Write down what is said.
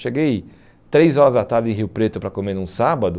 Cheguei três horas da tarde em Rio Preto para comer num sábado.